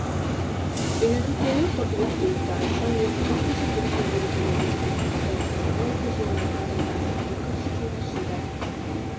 үйлену тойы қыркүйекте өтті айтжан ермұханқызы бүгінгі мерекелеріңізбен құттықтаймын жаңа оқу жылына қандай дайындықпен кірісіп жатырсыздар